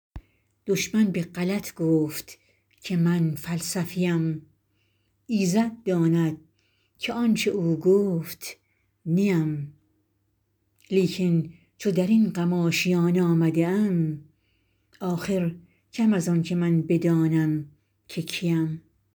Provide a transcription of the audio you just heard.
دشمن به غلط گفت که من فلسفی ام ایزد داند که آنچه او گفت نی ام لیکن چو در این غم آشیان آمده ام آخر کم از آنکه من بدانم که کی ام